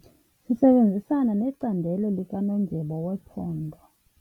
Sisebenzisana necandelo likanondyebo wephondo.